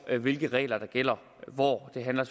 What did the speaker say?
af hvilke regler der gælder hvor det handler